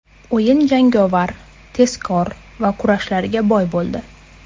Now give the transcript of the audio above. O‘yin jangovar, tezkor va kurashlarga boy bo‘ldi.